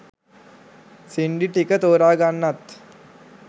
සින්ඩි ටික තෝරගන්නත්